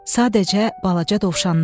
Sadəcə balaca dovşanlar.